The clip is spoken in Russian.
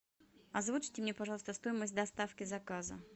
озвучьте мне пожалуйста стоимость доставки заказа